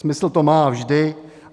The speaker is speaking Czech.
Smysl to má vždy.